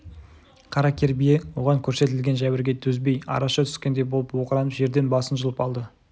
қара кер бие оған көрсетілген жәбірге төзбей араша түскендей болып оқыранып жерден басын жұлып алды